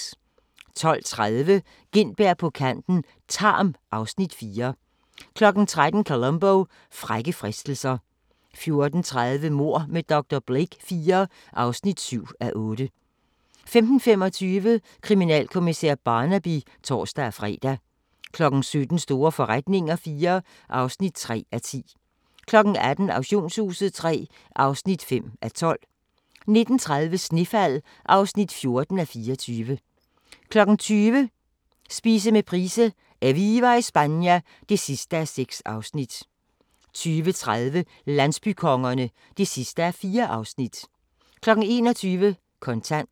12:30: Gintberg på kanten - Tarm (Afs. 4) 13:00: Columbo: Frække fristelser 14:30: Mord med dr. Blake IV (7:8) 15:25: Kriminalkommissær Barnaby (tor-fre) 17:00: Store forretninger IV (3:10) 18:00: Auktionshuset III (5:12) 19:30: Snefald (14:24) 20:00: Spise med Price: "Eviva Espana" (6:6) 20:30: Landsbykongerne (4:4) 21:00: Kontant